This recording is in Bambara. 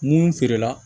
Mun feere la